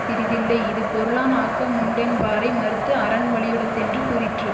பிறிதில்லை இது பொருளான் ஆக்கமுண்டென்பாரை மறுத்து அறன் வலி யுடைத்தென்று கூறிற்று